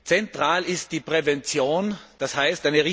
Zentral ist die Prävention, d. h.